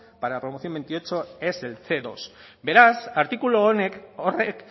para la promoción veintiocho es el ce dos beraz artikulu honek horrek